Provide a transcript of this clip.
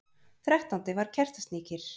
Þrettándi var Kertasníkir,